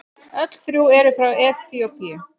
Öll þrjú eru frá Eþíópíu.